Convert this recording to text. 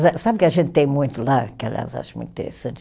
Sabe o que a gente tem muito lá, que, aliás, eu acho muito interessante?